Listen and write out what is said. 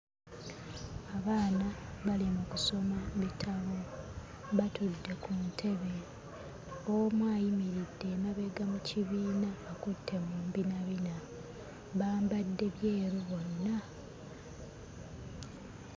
Abaana bali mu kusoma bitabo, batudde ku ntebe. Omu ayimiridde emabega mu kibiina akutte mu mbinabina, bambadde byeru bonna.